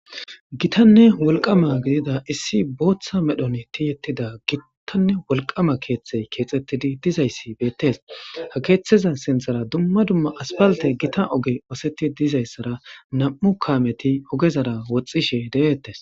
Gitanne wolqama gidida issi booththa medhon tiyettida gitanne wolqama keththa keththettidi dizayssi beetes ha keththeza sinththara dumma dumma aspalte gita oogey osettidi dizaysara nam'u kaameti oogezara woxishe de'ettes